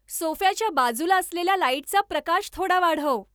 सोफ्याच्या बाजूला असलेल्या लाईटचा प्रकाश थोडा वाढव